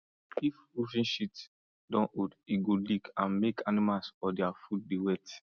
if roofing sheet don old e go leak and make animals or their food dey wet